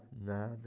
De nada.